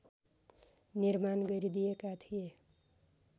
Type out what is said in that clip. निर्माण गरिदिएका थिए